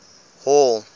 hall